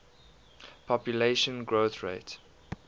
population growth rate